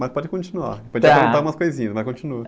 Mas pode continuar.á.ou te perguntar umas coisinhas, mas continua.